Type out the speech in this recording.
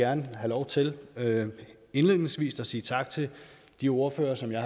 gerne have lov til indledningsvis at sige tak til de ordførere som jeg